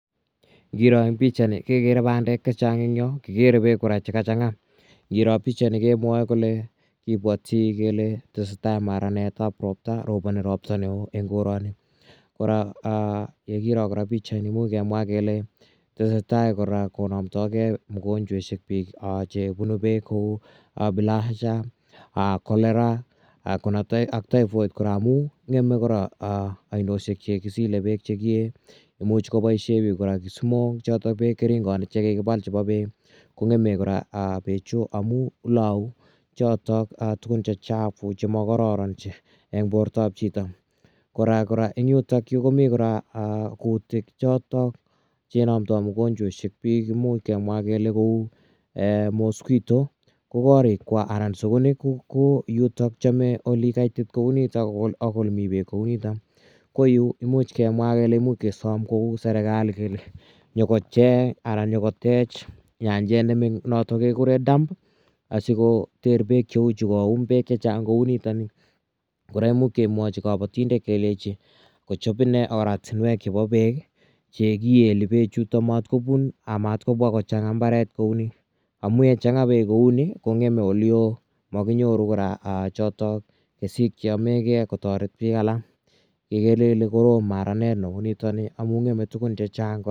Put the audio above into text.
Ngiro eng' pichaini kekere pandek che chang' eng' yo, kikere peek kora che ka chang'a. Ngiro pichaini kemwae kole kipwati kele tese tai maranet ap ropta. Roponi ropta ne oo eng' korani. Kora ye kiro kora pichaini imuchi kemwa kele tese tai kora konamdai ge pik mogonchweshek che punu peek kou bilharzia, cholera ak typhoid kora amu ng'eme kora ainoshek che kisile peek che ki ee. Imuch kopaishe pik kora kisimok, chotok keringanik che kikipal chepo peek kobg'eme kora peechu amu lau chotok tugun che chafu chang' ma kararan eng' portap chito. Kora eng' yutayu komi kora kutik chotok che inwmdai mogonchweshek pik imuch kemwa kele kou mosquito, ko koriikwak anan ko sukunik ko yutok, chame ole kaitit kou yutokak ole mi peek kou nitok. Ko yu imuch kemwa imuch kesam kou serkali nyu ko cheng' anan nyuko tech nyanjet notok kikure dam asikmkoter peek cheu chu, koum tuguk che chang' kou nitani. Kora imuch kemwachi kapatindet kelechi kochop ine oratinwek chepo peek che kieli pechutachu matkopun amatkopwa kochang'a mbaret kou ni amu yechang'a peek kou ni kong'eme ole oo, makinyoru kora kesik che yame gei kotaret pik alak. Igere ile korom maranet neu nitani amu ng'eme tugun che chang'.